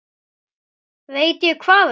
Veit ég hvað ekki?